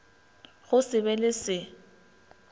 go se be le se